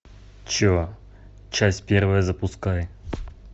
че часть первая запускай